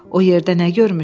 O yerdə nə görmüşdü?